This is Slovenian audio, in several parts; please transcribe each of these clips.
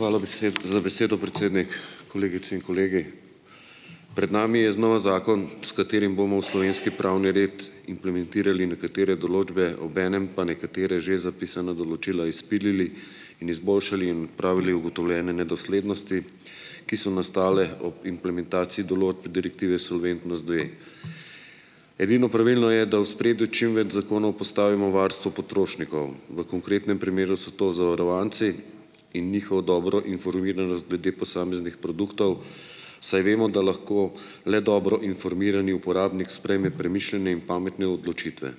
Hvala za besedo, predsednik, kolegice in kolegi. Pred nami je znova zakon, s katerim bomo v slovenski pravni red implementirali nekatere določbe, obenem pa nekatera že zapisana določila izpilili in izboljšali in pravili ugotovljene nedoslednosti, ki so nastale ob implementaciji določb Direktive Solventnost dve. Edino pravilno je, da v ospredje čim več zakonov postavimo varstvo potrošnikov, v konkretnem primeru so to zavarovanci in njihov dobro informiran glede posameznih produktov, saj vemo, da lahko le dobro informirani uporabnik sprejme premišljene in pametne odločitve.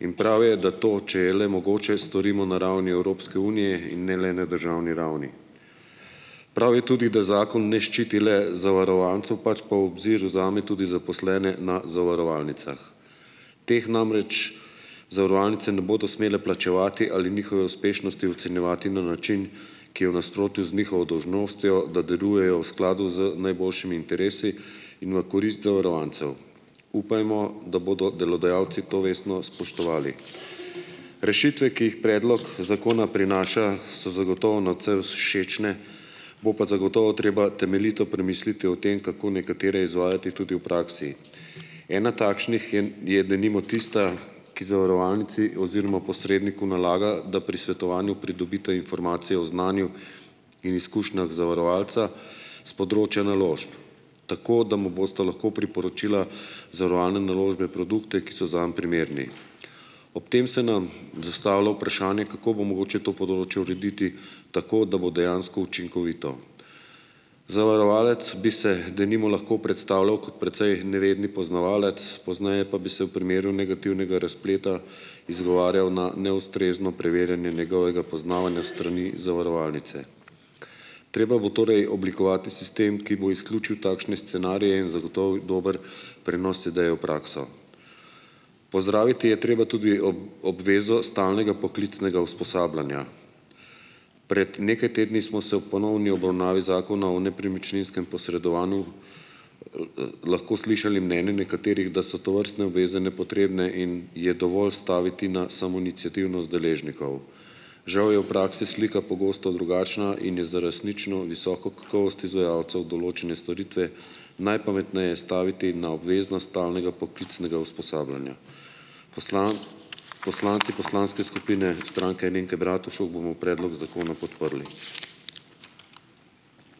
In prav je, da to , če je le mogoče, storimo na ravni Evropske unije in ne le na državni ravni. Prav je tudi, da zakon ne ščiti le zavarovancev, pač pa v obzir vzame tudi zaposlene na zavarovalnicah. Teh namreč zavarovalnice ne bodo smele plačevati ali njihove uspešnosti ocenjevati na način, ki je v nasprotju z njihovo dolžnostjo, da delujejo v skladu z najboljšimi interesi in v korist zavarovancev. Upajmo, da bodo delodajalci to vestno spoštovali . Rešitve, ki jih predlog Zakona prinaša , so zagotovo nadvse všečne, bo pa zagotovo treba temeljito premisliti o tem, kako nekatere izvajati tudi v praksi. Ena takšnih je denimo tista, ki zavarovalnici oziroma posredniku nalaga, da pri svetovanju pridobita informacije o znanju in izkušnjah zavarovalca s področja naložb, tako da mu bosta lahko priporočila zavarovalne naložbe, produkte, ki so zanj primerni . Ob tem se nam dostavlja vprašanje, kako bo mogoče to področje urediti tako, da bo dejansko učinkovito. Zavarovalec bi se, denimo, lahko predstavljal kot precej nevedni poznavalec, pozneje pa bi se v primeru negativnega razpleta izgovarjal na neustrezno preverjanje njegovega poznavanja s strani zavarovalnice. Treba bo torej oblikovati sistem, ki bo izključil takšne scenarije in zagotovil dober prenos ideje v prakso. Pozdraviti je treba tudi obvezo stalnega poklicnega usposabljanja. Prej nekaj tedni smo se ob ponovni obravnavi Zakona o nepremičninskem posredovanju, lahko slišali mnenje nekaterih, da so tovrstne obveze nepotrebne in je dovolj staviti na samoiniciativnost deležnikov. Žal je v praksi slika pogosto drugačna in je za resnično visoko kakovost izvajalcev določene storitve najpametneje staviti na obveznost stalnega poklicnega usposabljanja. poslanci poslanske skupine Stranke Alenke Bratušek bomo predlog zakona podprli .